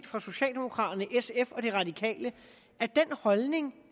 fra socialdemokraterne sf og de radikale at den holdning